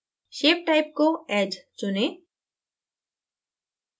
shape type को edge चुनें